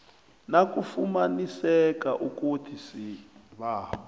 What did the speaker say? nakufumaniseka ukuthi isibawo